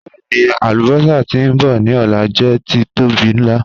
Bẹẹni, alubosa ti nbọ ni ọla jẹ titobi nla.